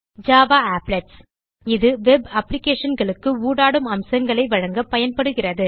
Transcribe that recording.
000528 000532 Java Applets இது web applicationகளுக்கு ஊடாடும் அம்சங்களை வழங்க பயன்படுகிறது